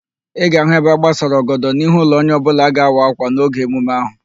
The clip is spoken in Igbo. Ị ga-ahụ ebe agbasara ọgọdọ n'ihu ụlọ onye ọbụla a ga-awa ákwà n'oge emume ahụ